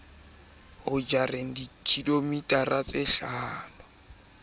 ho jareng kidibitla e kanakana